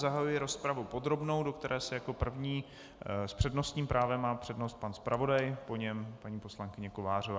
Zahajuji rozpravu podrobnou, do které se jaké první, s přednostním právem má přednost pan zpravodaj, po něm paní poslankyně Kovářová.